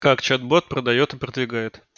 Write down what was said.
как чат-бот продаёт и продвигает